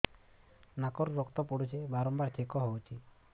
ନାକରୁ ରକ୍ତ ପଡୁଛି ବାରମ୍ବାର ଛିଙ୍କ ହଉଚି